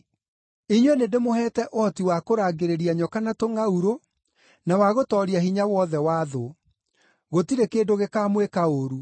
Inyuĩ nĩndĩmũheete ũhoti wa kũrangĩrĩria nyoka na tũngʼaurũ, na wa gũtooria hinya wothe wa thũ; gũtirĩ kĩndũ gĩkamwĩka ũũru.